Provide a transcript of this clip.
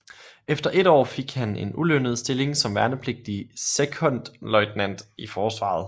Efter et år fik han en ulønnet stilling som værnepligtig sekondløjtnant i forsvaret